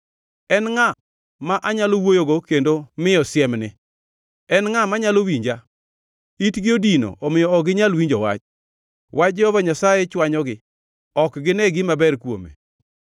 En ngʼa ma anyalo wuoyogo kendo miyo siemni? En ngʼa manyalo winja? Itgi odino omiyo ok ginyal winjo wach. Wach Jehova Nyasaye chwanyogi; ok gine gima ber kuome.